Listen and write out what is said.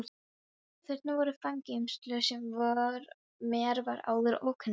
Þarna voru fangageymslur sem mér var áður ókunnugt um.